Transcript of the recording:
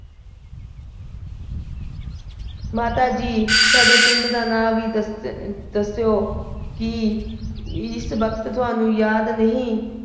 ਮਾਤਾ ਜੀ, ਤੁਹਾਡੇ ਪਿੰਡ ਦਾ ਨਾਂ ਵੀ ਦੱਸ ਅਹ ਦੱਸੀਓ। ਕੀ। ਇਸ ਵਕਤ ਤੁਹਾਨੂੰ ਯਾਦ ਨਹੀਂ।